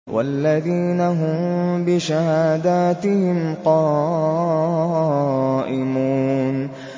وَالَّذِينَ هُم بِشَهَادَاتِهِمْ قَائِمُونَ